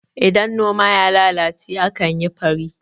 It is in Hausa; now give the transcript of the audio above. idan noma ya lalace a kan yi faro